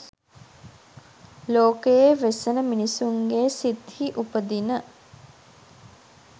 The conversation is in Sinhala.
ලෝකයේ වෙසෙන මිනිසුන්ගේ සිත්හි උපදින